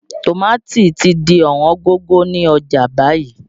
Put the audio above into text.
Tòmátì ti di Ọ̀wọ́n gógó ni ọjà báyìí